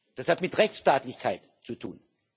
Das hat mit Rechtsstaatlichkeit zu tun.